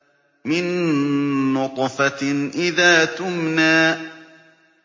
مِن نُّطْفَةٍ إِذَا تُمْنَىٰ